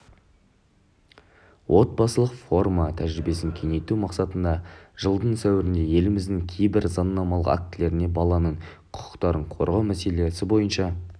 отбасылық форма тәжірибесін кеңейту мақсатында жылдың сәуірінде еліміздің кейбір заңнамалық актілеріне баланың құқықтарын қорғау мәселелері бойынша